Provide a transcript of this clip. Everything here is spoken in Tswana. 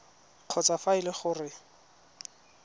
kgotsa fa e le gore